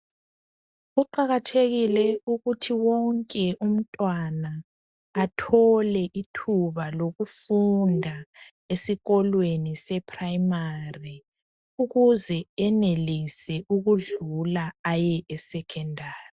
Kuqakathele ukuthi umntwana wonke athole ithuba lokusonda e 'primary' ukuse enelise ukudlula aye e 'secondary'